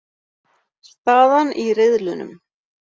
Staðan í riðlunum